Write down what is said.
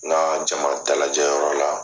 Na jama dalajɛyɔrɔ la